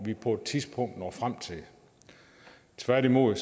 vi på et tidspunkt når frem til tværtimod